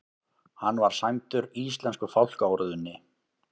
Hann var sæmdur íslensku fálkaorðunni